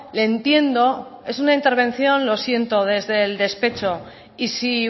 le entiendo es una intervención lo siento desde el despecho y si